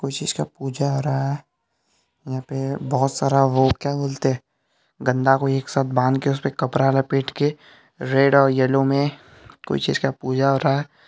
कुछ इसका पूजा हो रहा है यहाँ पे बहोत सारा वो क्या बोलते है डंडा को एक साथ बांध के उसे पर कपड़ा लपेट के रेड और येलो में कुछ इसका पूजा हो रहा है।